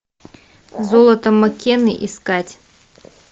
золото маккены искать